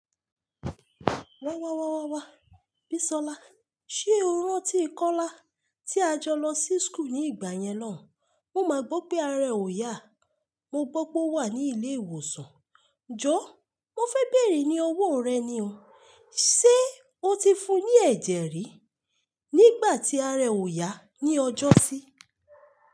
Wa wa wa wa wa Bisola, ṣe o rántí Kọ́lá tí a jọ lọ sí school ní ìgbà yẹn náà? Mo máa gbọ́ pé ààrẹ ò yá. Mo gbọ́ pé ó wà ní ilé ìwòsàn. Jọ̀ọ́, mo fẹ́ bèrè ní owó rẹ ni o. Ṣé o ti fún un ní ẹ̀jẹ̀ rí nígbà tí ààrẹ ò yá ní ọjọ́sí?